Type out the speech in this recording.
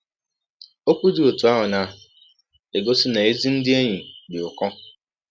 Ọkwụ dị ọtụ ahụ na - egọsi na ezi ndị enyi dị ụkọ.